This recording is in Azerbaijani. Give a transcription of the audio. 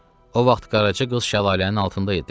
O vaxt Qaraca qız şəlalənin altında idi.